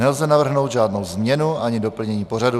Nelze navrhnout žádnou změnu ani doplnění pořadu.